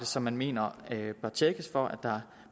som man mener bør tjekkes for at der